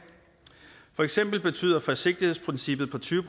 for eksempel betyder forsigtighedsprincippet på tyve